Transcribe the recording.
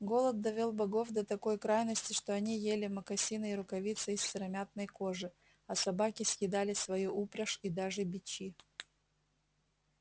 голод довёл богов до такой крайности что они ели мокасины и рукавицы из сыромятной кожи а собаки съедали свою упряжь и даже бичи